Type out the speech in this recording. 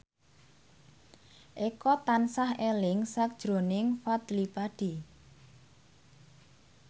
Eko tansah eling sakjroning Fadly Padi